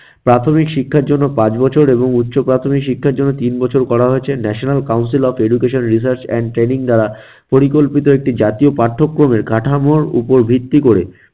প্রাথমিক শিক্ষার জন্য পাঁচ বছর এবং উচ্চ প্রাথমিক শিক্ষার জন্য তিন বছর করা হয়েছে national council of educational research and training দ্বারা পরিকল্পিত একটি জাতীয় পাঠ্যক্রমের কাঠামোর উপর ভিত্তি করে